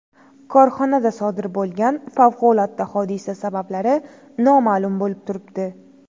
Korxonada sodir bo‘lgan favqulodda hodisa sabablari noma’lum bo‘lib turibdi.